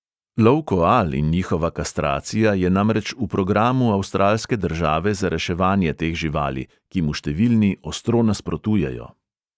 Lov koal in njihova kastracija je namreč v programu avstralske države za reševanje teh živali, ki mu številni ostro nasprotujejo.